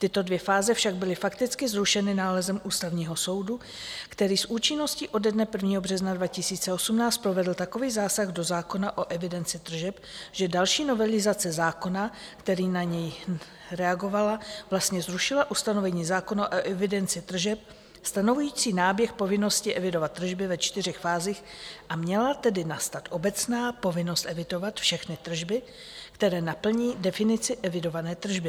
Tyto dvě fáze však byly fakticky zrušeny nálezem Ústavního soudu, který s účinností ode dne 1. března 2018 provedl takový zásah do zákona o evidenci tržeb, že další novelizace zákona, kterým na něj reagovala, vlastně zrušila ustanovení zákona o evidenci tržeb stanovující náběh povinnosti evidovat tržby ve čtyřech fázích, a měla tedy nastat obecná povinnost evidovat všechny tržby, které naplní definici evidované tržby.